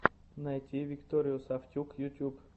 найти викторию сафтюк ютюб